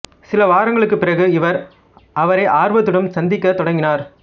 சில வாரங்களுக்குப் பிறகு இவர் அவரை ஆர்வத்துடன் சந்திக்கத் தொடங்கினார்